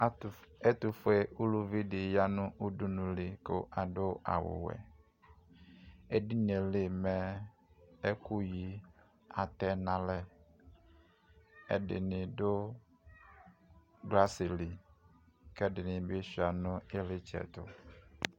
Ɛtʋfʋe uluvidi yanʋ udunuli kʋ adʋ awʋwɛ edinieli mɛ ɛkʋyi atɛnʋ alɛ ɛdinɩ dʋ glasili kʋ ɛdini suia nʋbikitsɛ